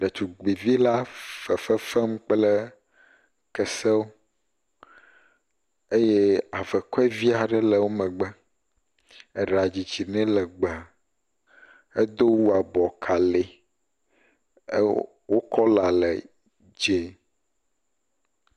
Ɖetugbuivi la fefe fem kple kesewo eye avekɔe vi aɖe wo megbe, eɖa didi nɛ legbe, edo awu abɔkalee, wo kɔla le dzee.